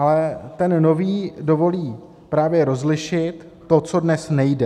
Ale ten nový dovolí právě rozlišit to, co dnes nejde.